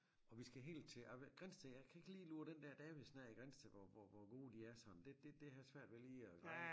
Og vi skal helt til Grindsted jeg kan ikke lige lure den der Davidsen af i Grindsted hvor hvor hvor gode de er det har jeg svært ved lige at greje